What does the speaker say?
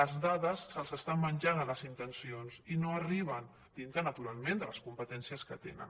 les dades se’ls estan menjant les intencions i no hi arriben dintre naturalment de les competències que tenen